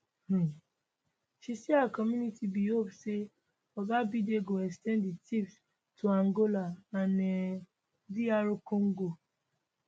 um she say her community bin hope say oga biden go ex ten d di tps to angola and um dr congo